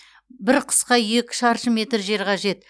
бір құсқа екі шаршы метр жер қажет